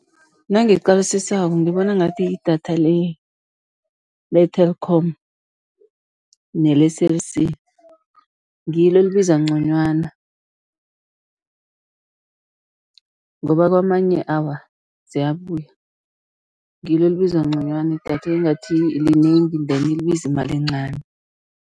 Nangiqalisisako ngibona ngathi idatha le-Telkom nele-Cell C, ngilo elibiza nconywana ngoba kwamanye, awa ziyabuya, ngilo elibiza nconywana idatha, engathi linengi then libiza imali encani.